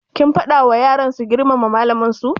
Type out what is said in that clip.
Kin faɗa wa yaran su girmama malaman su?